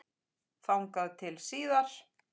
Þess naut ég af hjarta.